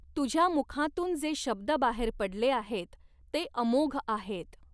तुझ्या मुखांतून जे शब्द बाहेर पडले आहेत ते अमोघ आहेत.